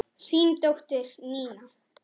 Þín dóttir, Nína.